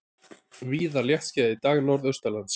Víða léttskýjað í dag norðaustanlands